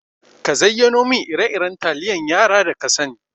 Ka zayyano min ire-iren taliyan yara da kasani.